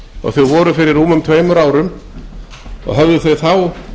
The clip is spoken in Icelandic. og þau voru fyrir rúmum tveimur árum og höfðu þá